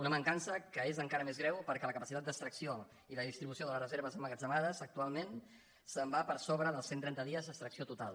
una mancança que és en·cara més greu perquè la capacitat d’extracció i de dis·tribució de les reserves emmagatzemades actualment se’n va per sobre dels cent trenta dies d’extracció total